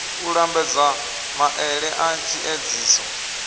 u lambedza maele a tshiedziso